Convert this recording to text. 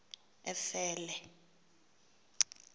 efele